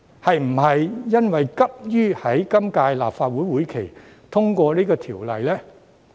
是否因為急於在今屆立法會會期內通過《條例草案》呢？